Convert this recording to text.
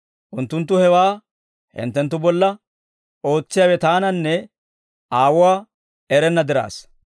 Unttunttu hewaa hinttenttu bolla ootsiyaawe Taananne Aawuwaa erenna diraassa.